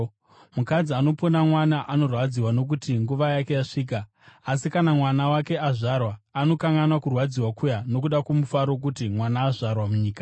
Mukadzi anopona mwana anorwadziwa nokuti nguva yake yasvika; asi kana mwana wake azvarwa, anokanganwa kurwadziwa kuya nokuda kwomufaro wokuti mwana azvarwa munyika.